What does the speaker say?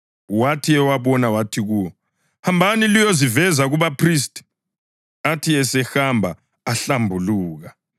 Wathi ewabona wathi kuwo, “Hambani liyoziveza kubaphristi.” Athi esahamba ahlambuluka.